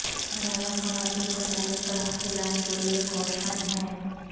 ملالہ خواتین کو تعلیم کا حق دلانے کے لیے کوشاں ہیں